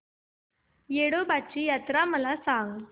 येडोबाची यात्रा मला सांग